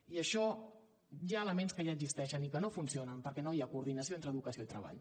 i això hi ha elements que ja existeixen i que no funcionen perquè no hi ha coordinació entre educació i treball